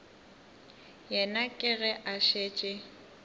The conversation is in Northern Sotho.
yena ke ge a šetše